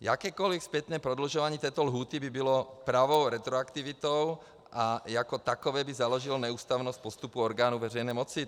Jakékoli zpětné prodlužování této lhůty by bylo pravou retroaktivitou a jako takové by založilo neústavnost postupu orgánů veřejné moci.